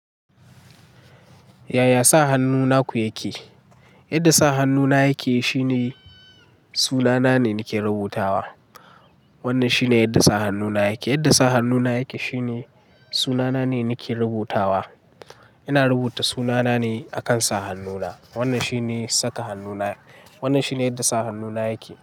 Yaya sa hannu naku yake? Yadda sa hannuna yake shine sunana ne nake rubutawa. Wannan shine yadda sa hannuna yake. Yadda sa hannuna yake shine sunana ne nake rubutawa. Ina rubuta sunana ne akan sa hannuna. Wannan shine saka hannuna. Wannan shine yadda sa hannuna yake.